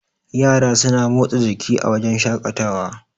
yara suna motsa jiki a wajen shaƙatawa